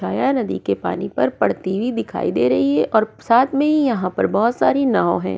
जो है नदी के पानी पर पड़ती हुई दिखाई दे रही है और साथ में ही यहां पर बहुत सारी नाव है।